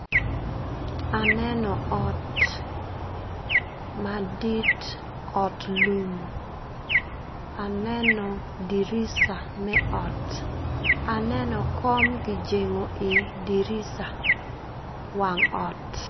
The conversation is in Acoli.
Aneno ot madit ot lum aneno dirica me ot, aneo kom kijengo i dirica wang ot.